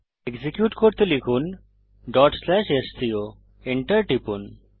execute করতে লিখুন sco enter টিপুন